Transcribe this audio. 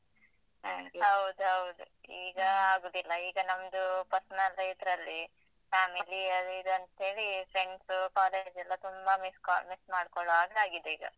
ಹೌದೌದು ಈಗ ಆಗುದಿಲ್ಲ, ಈಗ ನಮ್ದು personal ಇದ್ರಲ್ಲಿ family ಅದ್ ಇದು ಅಂತೇಳಿ friend ಸ್ಸು college ಎಲ್ಲ ತುಂಬ miss call miss ಮಾಡ್ಕೋಳ್ಳೋ ಹಂಗ್ ಆಗಿದೆ ಈಗ.